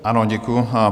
Ano, děkuji.